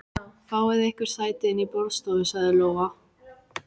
Fáið ykkur sæti inni í borðstofu, sagði Lóa.